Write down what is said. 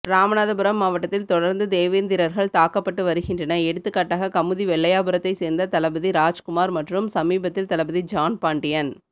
ராமநாதபுரம்மாவட்டத்தில் தொடர்ந்து தேவேந்திரர்கள் தாக்கப்பட்டு வருகின்றன எடுத்துகாட்டாக கமுதி வெள்ளையாபுரத்தைசேர்ந்த தளபதி ராஜ்குமார் மற்றும் சமீபத்தில் தளபதி ஜான்பாண்டியன்